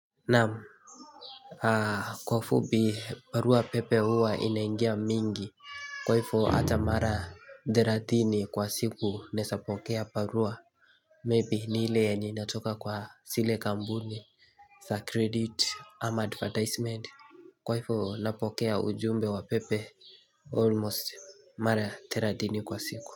Namu Kwa ufubi parua pepe huwa inaingia mingi Kwaifo ata mara deradhini kwa siku nesapokea parua Maybe nile eni natoka kwa sile kambuni the credit am advertisement Kwaifo napokea ujumbe wa pepe Almost mara dera dhini kwa siku.